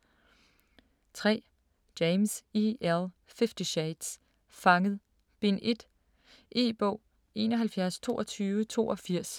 3. James, E. L.: Fifty shades: Fanget: Bind 1 E-bog 712282